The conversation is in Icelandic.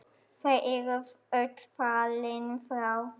Þau eru öll fallin frá.